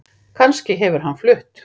Kannski hefur hann flutt